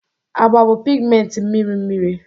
Agba bụ pigmenti mmiri mmiri.